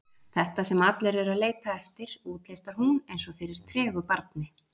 Þetta sem allir eru að leita eftir, útlistar hún eins og fyrir tregu barni.